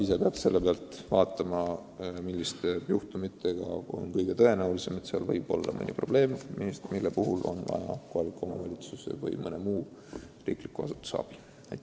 Sotsiaaltöötaja peab otsustama, millistel noortel võib olla probleem, mille lahendamiseks on vaja kohaliku omavalitsuse või mõne muu ametiasutuse abi.